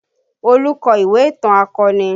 Olu kọ ìwé ìtàn akọni